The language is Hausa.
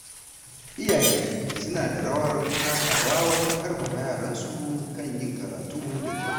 Iyaye suna da rawar takawa wajen ƙarfafa yaransu kan yin karatu da kyau.